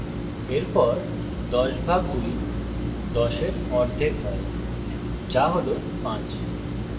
এরপর ১০ ভাগ ২ ১০এর অর্ধেক হয় যা হল ৫